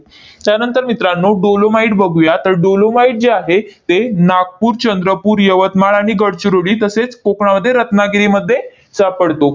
त्यानंतर मित्रांनो, dolomite बघूया. तर dolomite जे आहे, ते नागपूर, चंद्रपूर, यवतमाळ आणि गडचिरोली तसेच कोकणामध्ये रत्नागिरीमध्ये सापडतो.